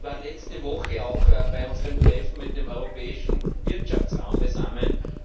Sie war letzte Woche auch bei unserem Treffen mit dem Europäischen Wirtschaftsraum zugegen.